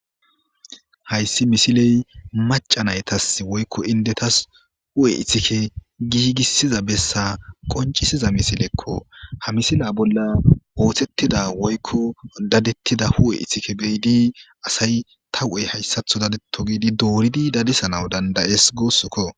Hayssi misiley maca naytas woykko indetas hu'e ithike giigissiza bessa qoncisiza misilekko ha misila bolla oothettida woykko dadettida hu'e ithike beyidi asay ta hu'ey hayssatho dadeto giidi dooridi dadisanaw dandayes goossokko.